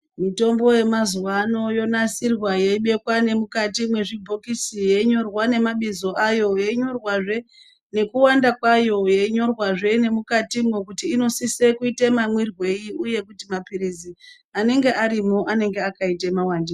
Mitombo yemazuwaano yonasirwa yeibekwa nemukati mwezvibhokisi, yeinyorwa nemabizo ayo ,yeinyorwazve nekuwanda kwayo, yeinyorwazve mukatimwo kuti inosise kuite mamwirwei, uyezve kuti mamphirizi anenge arimwo anenge akaite muwandirei.